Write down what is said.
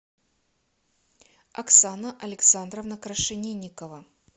оксана александровна крашенинникова